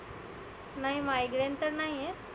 नाही migraine तर नाहीए.